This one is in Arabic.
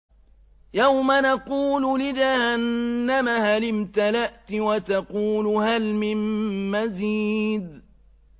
يَوْمَ نَقُولُ لِجَهَنَّمَ هَلِ امْتَلَأْتِ وَتَقُولُ هَلْ مِن مَّزِيدٍ